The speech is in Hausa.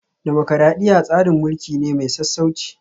Dimokuradiyya tsarin mulki ne mai sassauci